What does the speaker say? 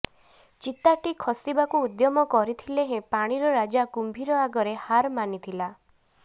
ଚିତାଟି ଖସିବାକୁ ଉଦ୍ୟମ କରିଥିଲେ ହେଁ ପାଣିର ରାଜା କୁମ୍ଭୀର ଆଗରେ ହାର ମାନିଥିଲା